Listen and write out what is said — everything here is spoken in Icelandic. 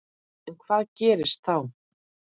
En hvað gerist þá?